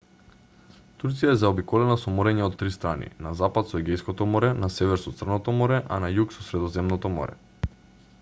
турција е заобиколена со мориња од три страни на запад со егејското море на север со црното море а на југ со средоземното море